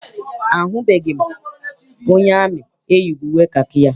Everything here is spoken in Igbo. Ahụbeghị m onye amị eyighị uwe kakị ya.